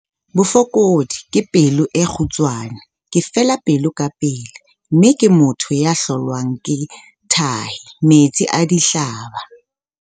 Bofokodi- Ke pelo e kgutshwane, ke fela pelo kapele, mme ke motho ya hlolwang ke tahi, metsi a dihlaba.